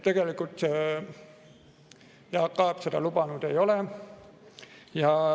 Tegelikult Jaak Aab seda lubanud ei ole.